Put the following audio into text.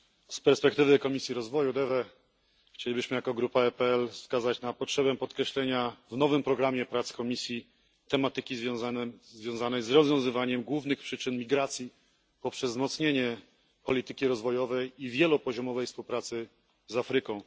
Z perspektywy Komisji Rozwoju DEVE chcielibyśmy jako grupa EPL wskazać na potrzebę podkreślenia w nowym programie prac Komisji tematyki związanej z rozwiązywaniem głównych przyczyn migracji poprzez wzmocnienie polityki rozwojowej i wielopoziomowej współpracy z Afryką.